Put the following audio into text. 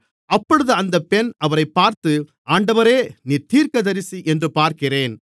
அப்பொழுது அந்த பெண் அவரைப் பார்த்து ஆண்டவரே நீர் தீர்க்கதரிசி என்று பார்க்கிறேன்